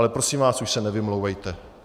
Ale prosím vás, už se nevymlouvejte.